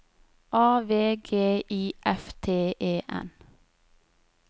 A V G I F T E N